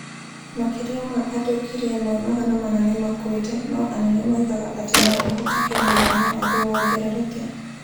Makĩria ma andũ ngiri ĩmwe magana mana nĩ makuĩte, no anene moigaga atĩ no kũhoteke mũigana waguo wongerereke.